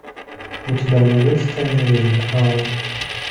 у тебя найдется тайная жизнь коалы